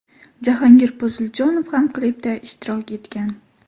Jahongir Poziljonov ham klipda ishtirok etgan.